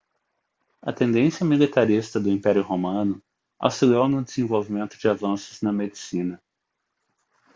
a tendência militarista do império romano auxiliou no desenvolvimento de avanços na medicina